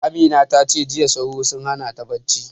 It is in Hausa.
Amina ta ce jiya sauro sun hana ta bacci